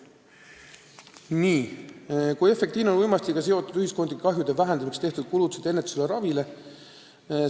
Viies küsimus: "Kui efektiivne on uimastitega seotud ühiskondlike kahjude vähendamiseks tehtud kulutused ennetusele ja ravile?